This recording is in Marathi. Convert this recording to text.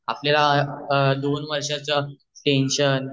आपल दोन वर्षाच टेंशन